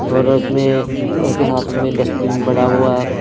और इसमें इसके साथ में डस्टबीन बड़ा हुआ है.